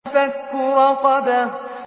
فَكُّ رَقَبَةٍ